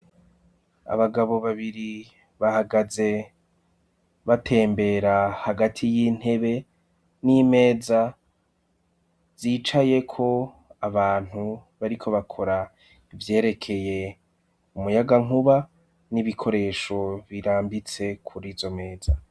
Abagabo babiri bahagaze batembera hagati y'intebe n'imeza zicayeko abantu bariko bakora ivyerekeye umuyagankuba n'ibikoresho birambitse kuri izo meza.